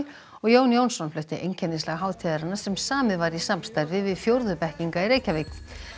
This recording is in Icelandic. og Jón Jónsson flutti hátíðarinnar sem samið var í samstarfi við fjórðu bekkinga í Reykjavík